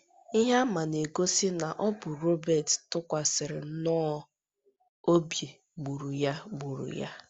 Ihe àmà na - egosi na ọ bụ onye Robert tụkwasịrị nnọọ obi gburu ya gburu ya.